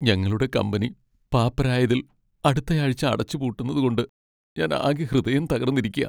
ഞങ്ങളുടെ കമ്പനി പാപ്പരായതിൽ അടുത്തയാഴ്ച അടച്ചുപൂട്ടുന്നതുകൊണ്ട് ഞാൻ ആകെ ഹൃദയം തകർന്നിരിയ്ക്കാ .